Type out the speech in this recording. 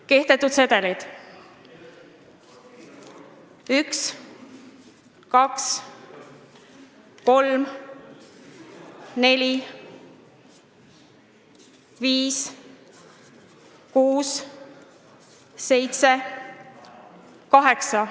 Kehtetud sedelid: 1, 2, 3, 4, 5, 6, 7, 8.